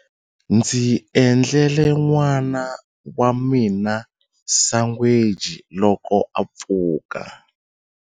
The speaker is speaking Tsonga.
Ndzi endlele n'wana wa mina sangweji loko a pfuka.